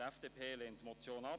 Die FDP lehnt die Motion ab.